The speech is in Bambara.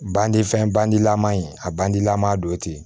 Bandi fɛn bandilaman in a bandilaman dow ye ten